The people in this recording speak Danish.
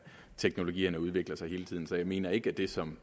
teknologierne udvikler sig hele tiden så jeg mener ikke at det som